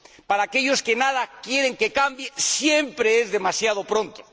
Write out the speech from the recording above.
Para aquellos que nada quieren que cambie siempre es demasiado pronto.